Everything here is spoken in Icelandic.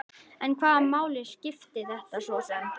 En hvaða máli skipti þetta svo sem?